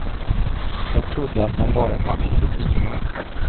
Jag trodde att man bara hamlade pilar.